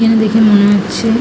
এখানে দেখে মনে হচ্ছে ।